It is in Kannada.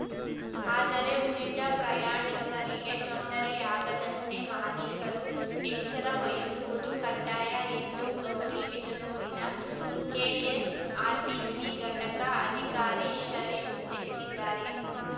ಆದರೆ ಉಳಿದ ಪ್ರಯಾಣಿಕರಿಗೆ ತೊಂದರೆಯಾಗದಂತೆ ಮಾಲೀಕರು ಎಚ್ಚರ ವಹಿಸುವುದು ಕಡ್ಡಾಯ ಎಂದು ಗೌರಿಬಿದನೂರಿನ ಕೆಎಸ್‌ಆರ್‌ಟಿಸಿ ಘಟಕ ಅಧಿಕಾರಿ ಶರೀಫ್‌ ತಿಳಿಸಿದ್ದಾರೆ